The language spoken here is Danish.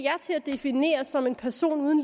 til at defineres som en person